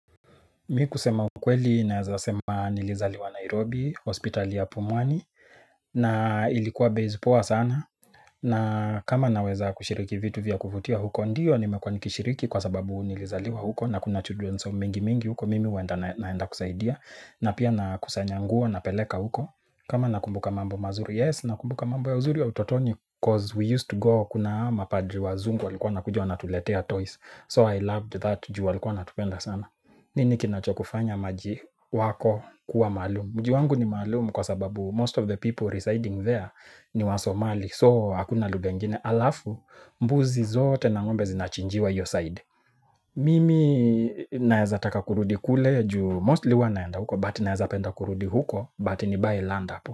Mimi kusema ukweli na ninaweza sema nilizaliwa Nairobi, hospitali ya Pumwani. Na ilikuwa base poa sana na kama naweza kushiriki vitu vya kuvutia huko, ndiyo, nimekuwa nikishiriki kwa sababu nilizaliwa huko. Na kuna children's home nyingi nyingi huko, mimi naenda, naenda kusaidia. Na pia nakusanya nguo na kupeleka huko. Kama nakumbuka mambo mazuri, yes. Na nakumbuka mambo ya uzuri wa utotoni. Cause we used to go, kuna hawa mapadri wazungu walikuwa wakitujua na kutuletea toys. So I loved that, juu walikuwa wakitupenda sana. Nini kinachokufanya mji wako kuwa maalumu? Mji wangu ni maalumu kwa sababu most of the people residing there ni wa Somali. So hakuna lugha nyingine, halafu mbuzi zote na ng'ombe zinachinjiwa hiyo side. Mimi naeza taka kurudi kule juu mostly huwa naenda huko but naeza penda kurudi huko but nibuy land hapo.